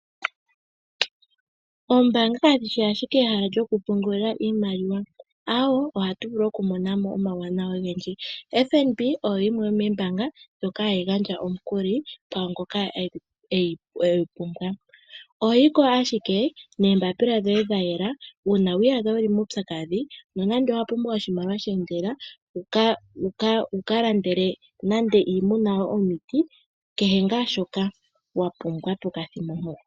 Oombaanga kadhi shi ashike ehala lyokupungulila iimaliwa. Aawe, ohatu vulu okumona mo omauwanawa ogendji. FNB oyo yimwe yomoombaanga ndhoka hadhi gandja omukuli kwaa ngoka egu pumbwa. Oho yi ko ashike noombaapila dhoye dha yela. Uuna wi iyadha wu li muupyakadhi nenge wa pumbwa oshimaliwa she endelela, wu ka landele nande iimuna yoye omiti kehe ngaa shoka wa pumbwa pokathimbo mpoka.